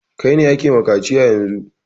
Kai ne ake wa kaciya yanzun!